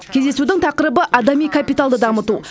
кездесудің тақырыбы адами капиталды дамыту